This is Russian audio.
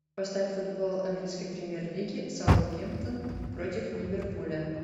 поставь футбол английской премьер лиги саутгемптон против ливерпуля